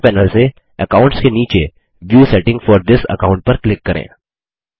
दायें पैनल से अकाउंट्स के नीचे view settings for this account पर क्लिक करें